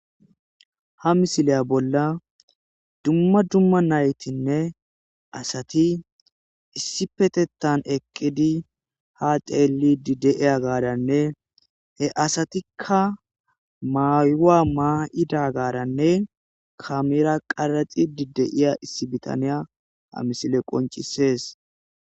Ha missile bolla dumma dumma nayttinne asati issippetetan eqqidi ha xellidi deiya gadane he asatika mayowa mayidaggaranne kamera qaraxxidi deiya issi biitaniya ha missiley qonccises.